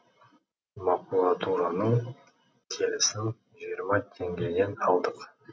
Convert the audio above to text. макулатураның келісін жиырма теңгеден алдық